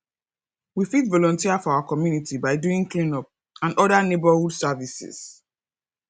we fit volunteer for our community by doing cleanup and oda neighbourhood services